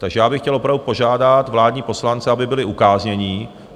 Takže já bych chtěl opravdu požádat vládní poslance, aby byli ukáznění.